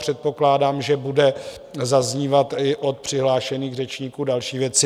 Předpokládám, že budou zaznívat i od přihlášených řečníků další věci.